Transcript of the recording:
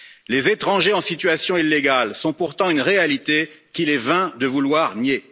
Les étrangers en situation illégale sont pourtant une réalité qu'il est vain de vouloir nier.